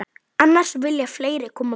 Annars vilja fleiri koma með.